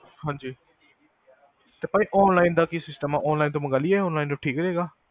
ਹਾਂਜੀ ਭਾਜੀ online ਦਾ ਕਿ system ਆ online ਤੋਂ ਮੰਗਾ ਲਈਏ online ਤੋਂ ਠੀਕ ਰਹੇਗਾ